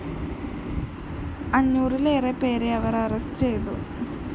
അഞ്ഞൂറിലേറെപ്പേരെ അവര്‍ അറസ്റ്റു ചെയ്തു